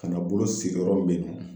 Ka na bolo sigi yɔrɔ min bɛ yen nɔ